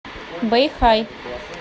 бэйхай